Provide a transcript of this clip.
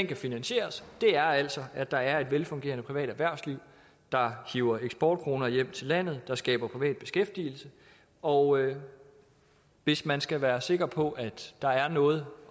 kan finansieres det er altså at der er et velfungerende privat erhvervsliv der hiver eksportkroner hjem til landet der skaber privat beskæftigelse og hvis man skal være sikker på at der er noget